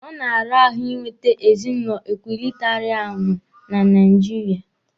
Ọ na-ara ahụ Ị nwete ezinụlọ ekwụlịtarịanụ na Naijiria.